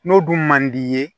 N'o dun man d'i ye